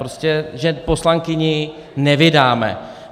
Prostě že poslankyni nevydáme.